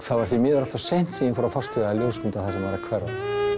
það var því miður allt of seint sem ég fór að fást við að ljósmynda það sem var að hverfa